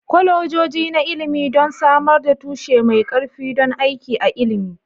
Kwalejoji na ilimi don samar da tushe mai ƙarfi don aiki a ilimi